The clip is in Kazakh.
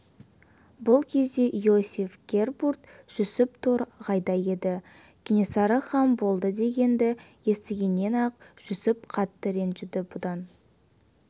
бұл кезде иосиф гербурт-жүсіп тор- ғайда еді кенесары хан болды дегенді естігеннен-ақ жүсіп қатты ренжіді бұдан